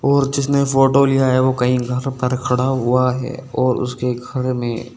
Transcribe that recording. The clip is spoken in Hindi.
और जिसने फोटो लिया है वो कहीं घर पर खड़ा हुआ है और उसके घर में--